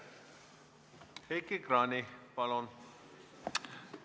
Heiki Kranich, palun!